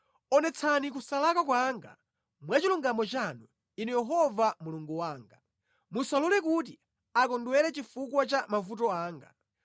Onetsani kusalakwa kwanga mwa chilungamo chanu, Inu Yehova Mulungu wanga. Musalole kuti akondwere chifukwa cha mavuto anga.